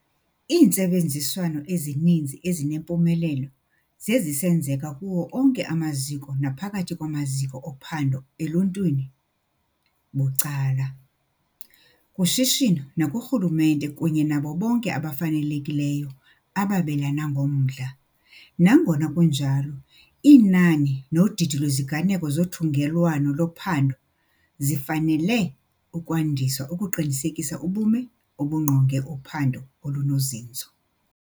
Iintsebenziswano ezininzi ezinempumelelo sezisenzeka kuwo onke amaziko naphakathi kwamaziko ophando eluntwini - bucala, kushishino nakurhulumente kunye nabo bonke abafanelekileyo ababelana ngomdla. Nangona kunjalo, inani nodidi lweziganeko zothungelwano lophando zifanele ukwandiswa ukuqinisekisa ubume obungqonge uphando olunozinzo.